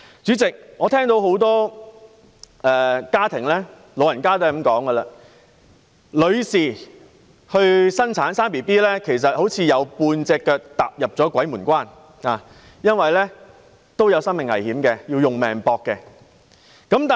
主席，多個家庭和長者皆說道，女性生育，便仿如"有半隻腳踏入鬼門關"般，因為她們會有生命危險，可謂以性命相博。